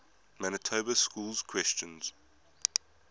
manitoba schools question